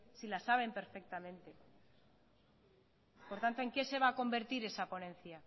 si la saben perfectamente por tanto en qué se va a convertir esa ponencia